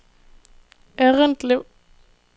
Errindlev